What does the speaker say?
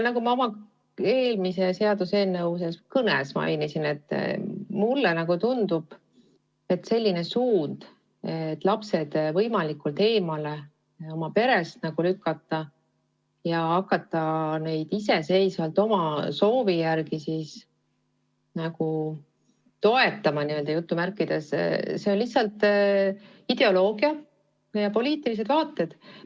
Nagu ma eelmise seaduseelnõu puhul oma kõnes mainisin, tundub mulle, et selline suund, et lapsed oma perest võimalikult eemale lükata ja hakata neid iseseisvalt oma soovi järgi "toetama", on lihtsalt ideoloogia ja poliitilised vaated.